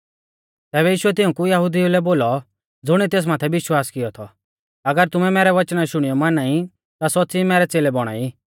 तैबै यीशुऐ तिऊं यहुदिऊ लै बोलौ ज़ुणिऐ तेस माथै विश्वास किऔ थौ अगर तुमै मैरै वचना शुणियौ माना ई ता सौच़्च़ी मैरै च़ेलै बौणा ई